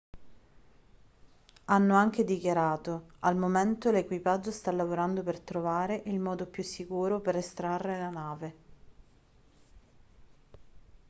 hanno anche dichiarato al momento l'equipaggio sta lavorando per trovare il modo più sicuro per estrarre la nave